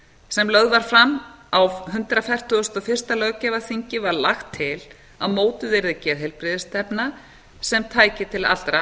sem lögð var fram á hundrað fertugasta og fyrsta löggjafarþingi var lagt til að mótuð yrði geðheilbrigðisstefna sem tæki til allra